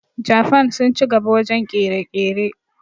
Jafan sun ci gaba wajen ƙere-ƙere